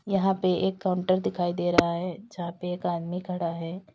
यहां पे एक काउंटर दिखाई दे रहा है जहां पे एक आदमी खड़ा है।